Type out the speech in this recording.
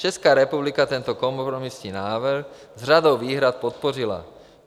Česká republika tento kompromisní návrh s řadou výhrad podpořila.